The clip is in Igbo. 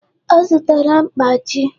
Ọ zụtara mkpachi